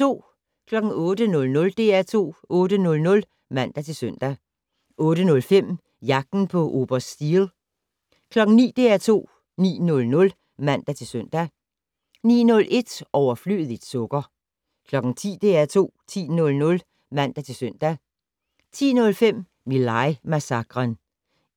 08:00: DR2 8:00 (man-søn) 08:05: Jagten på oberst Steele 09:00: DR2 9:00 (man-søn) 09:01: Overflødigt sukker 10:00: DR2 10:00 (man-søn) 10:05: My Lai-massakren